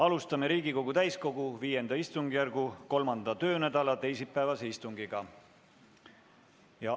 Alustame Riigikogu täiskogu V istungjärgu 3. töönädala teisipäevast istungit.